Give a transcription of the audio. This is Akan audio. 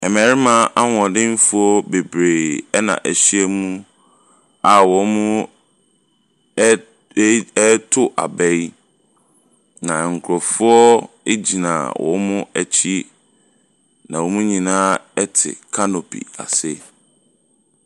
Mmarima ahoɔdefoɔ bebree ɛna wɔahyia mu a wɔn ɛɛ ee reto aba yi. Na nkurɔfoɔ gyina wɔn akyi. Na wɔn nyinaa te canopy ase.